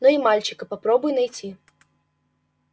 но и мальчика попробуй найти